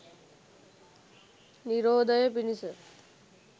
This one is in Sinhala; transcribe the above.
නිරෝධය පිණිස